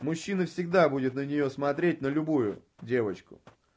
мужчины всегда будет на неё смотреть на любую девочку